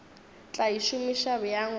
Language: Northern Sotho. tla e šomiša bjang go